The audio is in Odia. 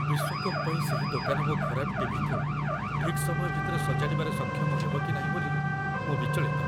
ବିଶ୍ୱକପ୍ ପାଇଁ ସେହି ଦୋକାନ ମୋ ଖରାପ ଟି.ଭି.କୁ ଠିକ୍ ସମୟ ଭିତରେ ସଜାଡ଼ିବାରେ ସକ୍ଷମ ହେବ କି ନାହିଁ ବୋଲି ମୁଁ ବିଚଳିତ।